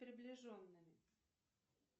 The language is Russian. приближенными